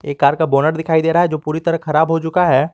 एक कार का बोनट दिखाई दे रहा है जो पूरी तरह खराब हो चुका है।